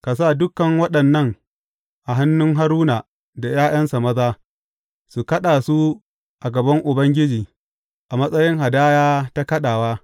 Ka sa dukan waɗannan a hannun Haruna da ’ya’yansa maza, su kaɗa su a gaban Ubangiji a matsayin hadaya ta kaɗawa.